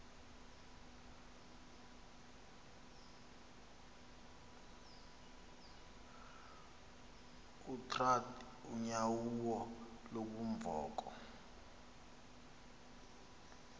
utrath unyauo lubunvoko